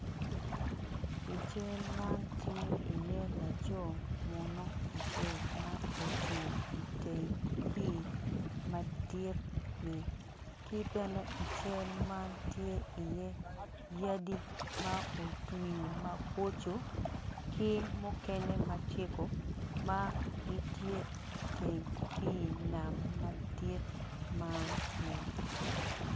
I cal man tye iye laco munu acel ma ocung i teng pii madit-ni ki bene i cal man tye iye bene yadi ma otwi maboco ki mukene ma cego ma gitye i teng pii nam madit man-ni.